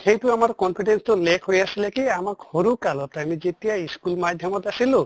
সেইটো আমাৰ confidence তো lack হৈ আছিলে কি আমাক সৰু কালত আমি যেতিয়া school মাধ্য়মত আছিলোঁ